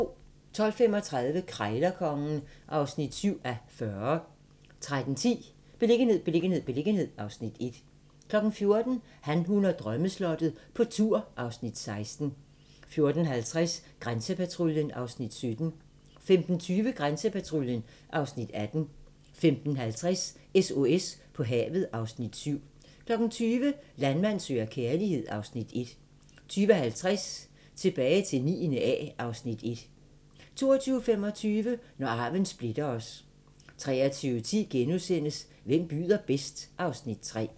12:35: Krejlerkongen (7:40) 13:10: Beliggenhed, beliggenhed, beliggenhed (Afs. 1) 14:00: Han, hun og drømmeslottet - på tur (Afs. 16) 14:50: Grænsepatruljen (Afs. 17) 15:20: Grænsepatruljen (Afs. 18) 15:50: SOS på havet (Afs. 7) 20:00: Landmand søger kærlighed (Afs. 1) 20:50: Tilbage til 9. A (Afs. 1) 22:25: Når arven splitter os 23:10: Hvem byder bedst? (Afs. 3)*